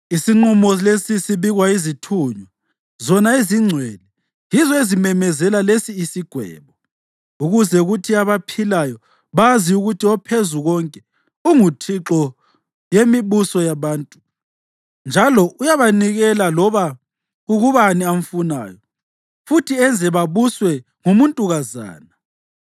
“ ‘Isinqumo lesi sibikwa yizithunywa, zona ezingcwele yizo ezimemezela lesi isigwebo, ukuze kuthi abaphilayo bazi ukuthi oPhezukonke unguThixo yemibuso yabantu njalo uyabanikela loba kukubani amfunayo futhi enze babuswe ngumuntukazana.’